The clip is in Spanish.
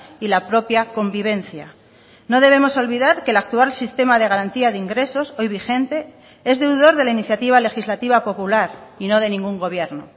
y la propia convivencia no debemos olvidar que el actual sistema de garantía de ingresos hoy vigente es deudor de la iniciativa legislativa popular y no de ningún gobierno